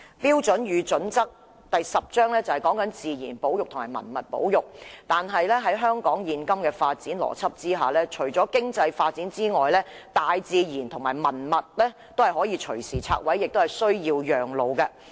《規劃標準》的第十章是關於自然保育和文物保護的，但在香港現今的發展邏輯下，除經濟發展外，大自然和文物皆可以隨時拆毀，亦有需要讓路。